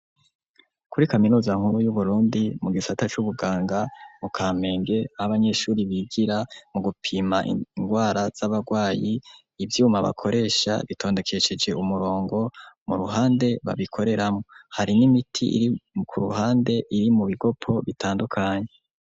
Kuri kamiroza nkuru y'uburundi mu gisata c'ubuganga mu kamenge abanyeshuri bigira mu gupima ingwara z'abarwayi ivyuma bakoresha bitondekesheje umurongo mu ruhande babikoreramwo, hari n'imiti iri ku ruhande iri mu bigopo bitandukanye.